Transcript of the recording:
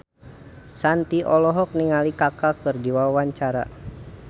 Shanti olohok ningali Kaka keur diwawancara